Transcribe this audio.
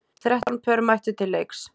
Þrettán pör mættu til leiks.